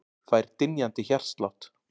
Fær dynjandi hjartslátt.